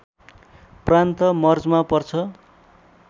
प्रान्त मर्जमा पर्छ